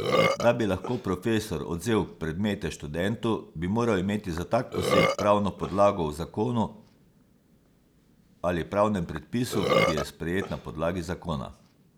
Da bi lahko profesor odvzel predmete študentu, bi moral imeti za tak poseg pravno podlago v zakonu ali pravnem predpisu, ki je sprejet na podlagi zakona.